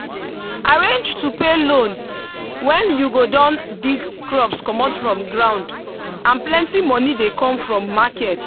arrange to pay loan when you go don dig crops comot from ground and plenty moni dey come from market